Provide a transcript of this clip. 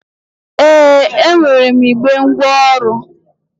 Ee, e nwere m igbe ngwaọrụ